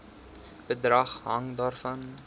bedrag hang daarvan